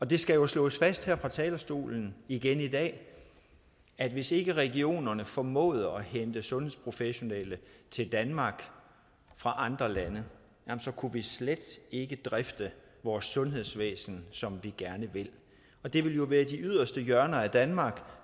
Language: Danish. det skal jo slås fast her fra talerstolen igen i dag at hvis ikke regionerne formåede at hente sundhedsprofessionelle til danmark fra andre lande kunne vi slet ikke drifte vores sundhedsvæsen som vi gerne vil og det vil jo være de yderste hjørner af danmark